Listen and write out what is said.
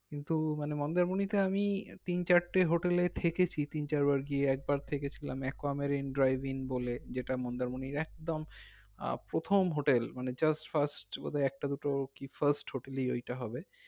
কিন্তু মানে মন্দারমণীতে আমি তিন চার তে hotel এ থেকেছি তিন চার বার গিয়ে একবার থেকেছিলাম যেইটা মন্দারমনির একদম আহ প্রথম hotel মানে first একটা দুটো কি first hotel এ এইটা হবে